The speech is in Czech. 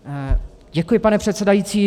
Děkuji, pane předsedající.